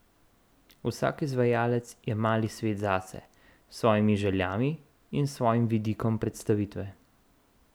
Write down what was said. Vsak izvajalec je mali svet zase, s svojimi željami in svojim vidikom predstavitve.